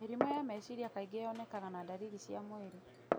Mĩrimũ ya meciria kaingĩ yonekaga na ndariri cia mwĩrĩ